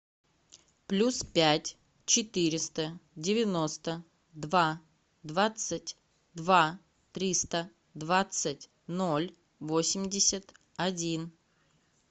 плюс пять четыреста девяносто два двадцать два триста двадцать ноль восемьдесят один